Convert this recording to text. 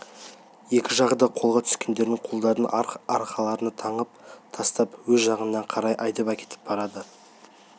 екі жағы да қолға түскендердің қолдарын арқасына таңып тастап өз жағына қарай айдап әкетіп барады